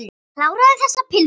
Kláraðu þessa pylsu.